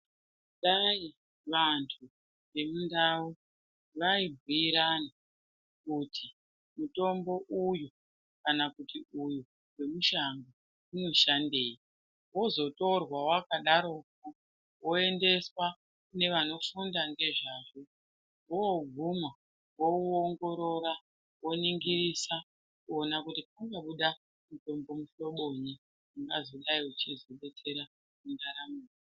Dai vantu vemundau vaibhuyirana kuti mutombo uyu kana kuti uyu wemushango unoshandei wozotorwa wakadarokwo woendeswa kune vanofunda ngezvazvo woguma owuoongorora oningirisa oona kunobuda mutombo muhlobonyi ungazodayi uchizobetsera mundaramo.